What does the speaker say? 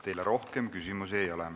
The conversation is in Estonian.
Teile rohkem küsimusi ei ole.